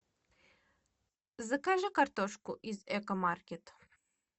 закажи картошку из экомаркет